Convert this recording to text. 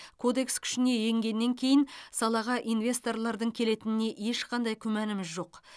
кодекс күшіне енгеннен кейін салаға инвесторлардың келетініне ешқандай күмәніміз жоқ